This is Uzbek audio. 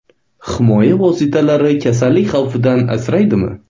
Himoya vositalari kasallik xavfidan asraydimi?